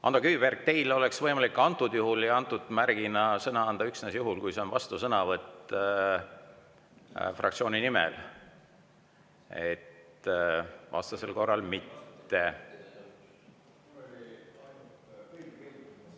Ando Kiviberg, teile oleks võimalik antud juhul ja antud märgi alusel sõna anda üksnes juhul, kui see on vastusõnavõtt fraktsiooni nimel, vastasel korral mitte.